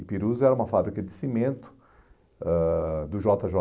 Ipirus era uma fábrica de cimento ãh do jota